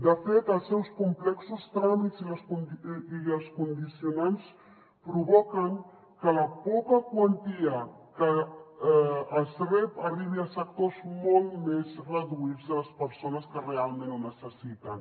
de fet els seus complexos tràmits i els condicionants provoquen que la poca quantia que es rep arribi a sectors molt més reduïts de les persones que realment ho necessiten